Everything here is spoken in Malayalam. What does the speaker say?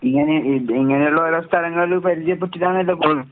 ഇങ്ങനെ ഇത് ഇങ്ങനിള്ളോരോ സ്ഥലങ്ങള് പരിചയപ്പെട്ടിട്ടാണല്ലോ പോണേ.